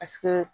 Asika